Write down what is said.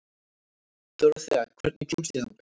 Dórothea, hvernig kemst ég þangað?